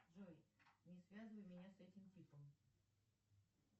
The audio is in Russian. джой не связывай меня с этим типом